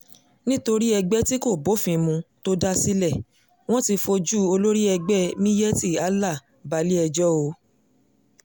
nítorí ẹgbẹ́ tí kò bófin mu tó dá sílẹ̀ wọn ti fojú olórí ẹgbẹ́ miyetti allah balẹ̀-ẹjọ́ o